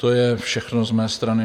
To je všechno z mé strany.